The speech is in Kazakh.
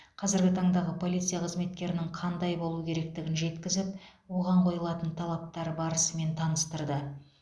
қазіргі таңдағы полиция қызметкерінің қандай болу керектігін жеткізіп оған қойылатын талаптар барысымен таныстырды